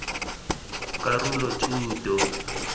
karolothuto